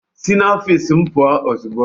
Si n'ofiisi m pụọ ozugbo!